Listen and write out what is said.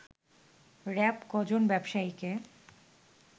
RAB ক'জন ব্যবসায়ীকে